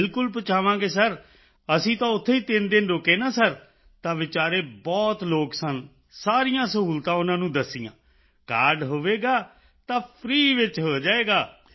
ਬਿਲਕੁਲ ਪਹੁੰਚਾਵਾਂਗੇ ਸਿਰ ਅਸੀਂ ਤਾਂ ਉੱਥੇ ਹੀ 3 ਦਿਨ ਰੁਕੇ ਨਾ ਹਸਪਤਾਲ ਵਿੱਚ ਸਿਰ ਤਾਂ ਉੱਥੇ ਵਿਚਾਰੇ ਬਹੁਤ ਲੋਕ ਸਨ ਸਾਰੀਆਂ ਸੁਵਿਧਾਵਾਂ ਉਨ੍ਹਾਂ ਨੂੰ ਦੱਸੀਆਂ ਕਾਰਡ ਹੋਵੇਗਾ ਤਾਂ ਫ੍ਰੀ ਵਿੱਚ ਹੋ ਜਾਵੇਗਾ